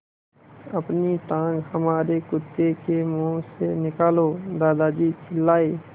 अपनी टाँग हमारे कुत्ते के मुँह से निकालो दादाजी चिल्लाए